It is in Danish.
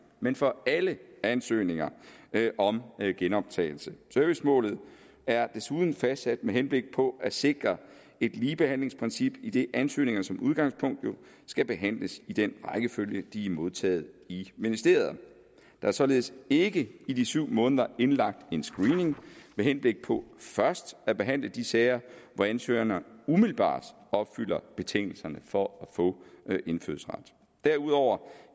men for alle ansøgninger om genoptagelse servicemålet er desuden fastsat med henblik på at sikre et ligebehandlingsprincip idet ansøgninger jo som udgangspunkt skal behandles i den rækkefølge de er modtaget i ministeriet der er således ikke i de syv måneder indlagt en screening med henblik på først at behandle de sager hvor ansøgerne umiddelbart opfylder betingelserne for at få indfødsret derudover